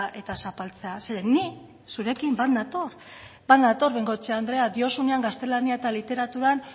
eta zapaltzea zeren ni zurekin bat nator bat nator bengoechea andrea diozunean gaztelania eta literaturan